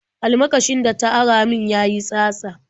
Almakashin da ta ara min ya yi tsatsa.